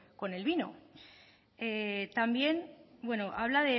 con el vino también bueno habla